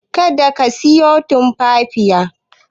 Kada ka siyo Tumfafiya.